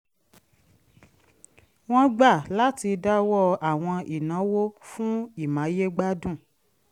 wọ́n gbà láti dáwọ́ àwọn ìnáwó fún ìmáyégbádùn